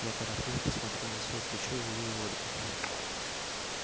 я торопливо посмотрел на своё плечо и увидел ольгу